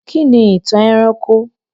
Kí ni ìtàn ẹranko?